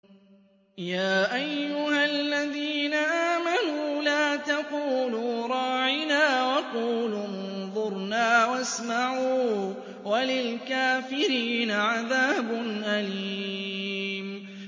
يَا أَيُّهَا الَّذِينَ آمَنُوا لَا تَقُولُوا رَاعِنَا وَقُولُوا انظُرْنَا وَاسْمَعُوا ۗ وَلِلْكَافِرِينَ عَذَابٌ أَلِيمٌ